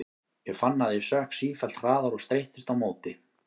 Ég fann að ég sökk sífellt hraðar og streittist á móti.